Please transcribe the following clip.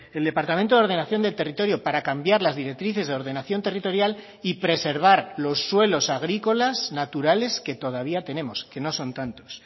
el departamento de ordenación del territorio para cambiar las directrices de ordenación territorial y preservar los suelos agrícolas naturales que todavía tenemos que no son tantos